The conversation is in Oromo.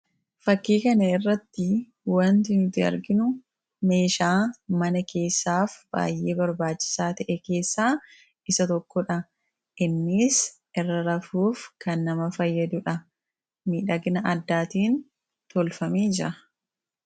fakkii kan irratti wanti nuti arginu meeshaa mana keessaaf baayyee barbaachisaa ta'e keessaa isa tokkodha innis irra rafuuf kan nama fayyaduudha midhagna addaatiin tolfamee jira.